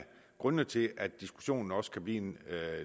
grundene til at diskussionen også kan blive en